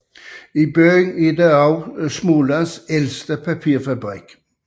I byen har også Smålands ældste papirfabrik ligget